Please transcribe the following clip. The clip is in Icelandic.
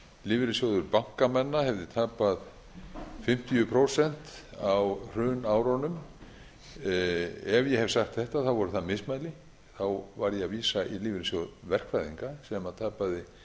lífeyrissjóður bankamanna hefði tapað fimmtíu prósent á hrunárunum ef ég hef sagt þetta voru það mismæli þá var ég að vísa í lífeyrissjóð verkfræðinga sem tapaði